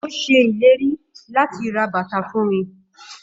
Ó ṣe ìlérí láti ra bàtà fún mi.